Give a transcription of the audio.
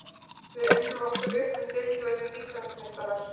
Við unnum okkur upp um deild og urðum Íslandsmeistarar.